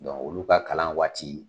olu ka kalan waati